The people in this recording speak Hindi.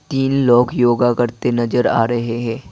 तीन लोग योगा करते नजर आ रहे है।